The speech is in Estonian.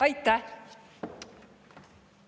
Aitäh!